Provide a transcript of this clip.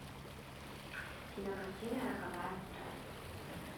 кинокартина роковая страсть